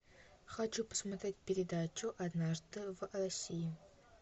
хочу посмотреть передачу однажды в россии